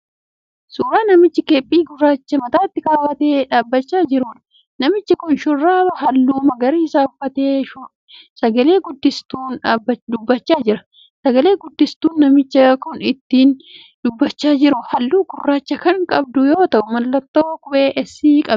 Suuraa namicha keeppii gurraacha mataatti kaawwatee dhaabbachaa jiruudha. Namichi kun shurraaba halluu magariisaa uffatee sagale guddistuun dubbachaa jira. Sagalee guddistuun namichi kun ittiin dubbachaa jiru halluu gurraacha kan qabdu yoo ta'u mallattoo qubee 'S' qabdi.